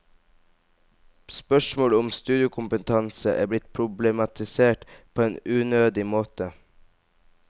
Spørsmålet om studiekompetanse er blitt problematisert på en unødig måte.